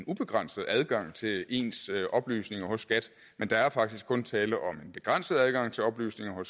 ubegrænset adgang til ens oplysninger hos skat men der er faktisk kun tale om en begrænset adgang til oplysninger